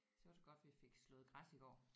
Så er det godt vi fik slået græs i går